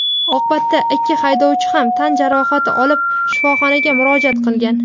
Oqibatda ikki haydovchi ham tan jarohati olib shifoxonaga murojaat qilgan.